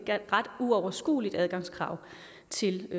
ret uoverskueligt adgangskrav til